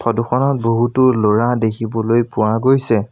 Photo খনত বহুতো ল'ৰা দেখিবলৈ পোৱা গৈছে।